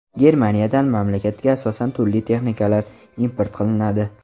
Germaniyadan mamlakatga asosan turli texnikalar import qilinadi.